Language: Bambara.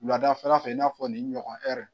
Wulada fɛla fɛ i n'a fɔ nin ɲɔgɔn ɛri